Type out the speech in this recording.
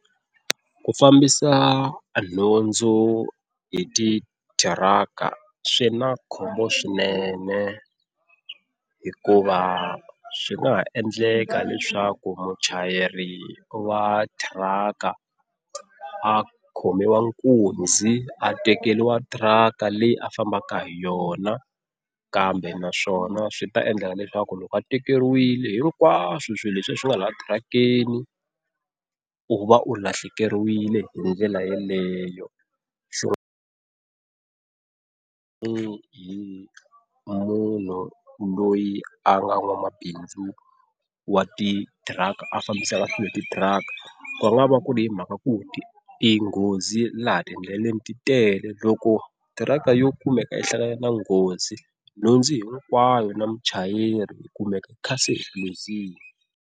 Ku fambisa nhundzu hi titiraka swi na khombo swinene hikuva swi nga ha endleka leswaku muchayeri wa tiraka a khomiwa nkunzi a tekeriwa tiraka leyi a fambaka hi yona. Kambe naswona swi ta endla leswaku loko a tekeriwile hinkwaswo swilo leswiya swi nga laha tirhakeni u va u lahlekeriwile hi ndlela yaleyo. Munhu loyi a nga nwamabindzu wa titiraka, a fambisaka swilo hi titiaka ku nga va ku ri hi mhaka ku ti nghozi laha ti endleleni ti tele loko driver yo kumeka i hlangane na nghozi nhundzu hinkwayo na muchayeri u luzile.